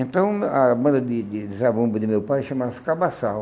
Então, a banda de de de Zabumba de meu pai chamava-se Cabassal.